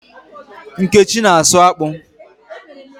Nkechi na-asụ akpụ